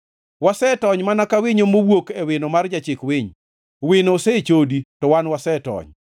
Wasetony mana ka winyo mowuok e wino mar jachik winy; wino osechodi, to wan wasetony.